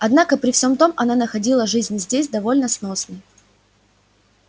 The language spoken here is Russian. однако при всём том она находила жизнь здесь довольно сносной